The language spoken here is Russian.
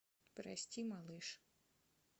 прости малыш